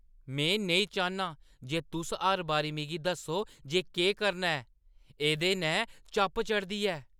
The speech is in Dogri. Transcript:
में नेईं चाह्न्नां जे तुस हर बारी मिगी दस्सो जे केह् करना ऐ। एह्दे नै चप्प चढ़दी ऐ।